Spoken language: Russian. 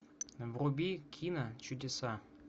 вруби кино чудеса